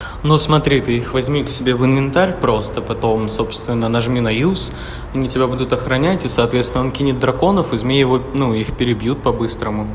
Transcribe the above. ну смотри ты их возьми к себе в инвентарь просто потом собственно нажми на юз они тебя будут охранять и соответственно он кинет драконов и змей ну их перебьют по-быстрому